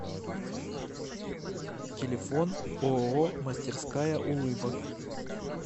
телефон ооо мастерская улыбок